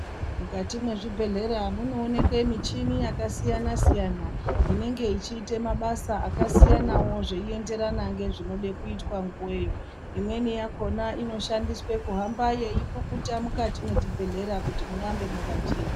Mukati mwezvibhedhleya munoonekwe michini yakasiyana-siyana, inenge ichiite mabasa akasiyanavo zveienderana ngezvinode kuitwe nguveyo. Imweni yakona inoshandiswe kuhamba yeipukuta mukati mwechibhedhlera kuti murambe makachena.